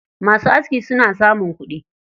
Masu aski suna samun kuɗi.